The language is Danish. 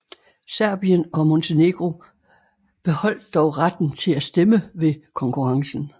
Serbien og Montenegro beholdt dog retten til at stemme ved konkurrencen